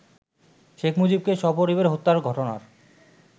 শেখ মুজিবকে সপরিবারে হত্যার ঘটনার